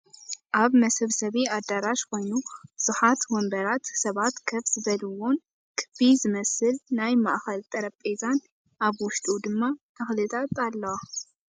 ኣበ መሰብሰቢ ኣደራሽ ኮይኑ ብዙሓት ወንበራት ሰባት ከፍ ዝበልዎምን ክቢ ዝመስል ናይ ማእከል ጠረጵዜን ኣብ ውሽጡ ድማ ተክታት ኣለዋ ።